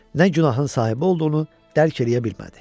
Nə günahın sahibi olduğunu dərk eləyə bilmədi.